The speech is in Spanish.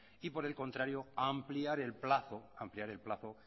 y por el contrario ampliar el plazo